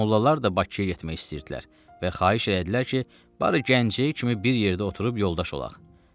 Mollalar da Bakıya getmək istəyirdilər və xahiş elədilər ki, barı gənciniz kimi bir yerdə oturub yoldaş olaq.